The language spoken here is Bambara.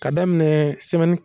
K'a daminɛɛ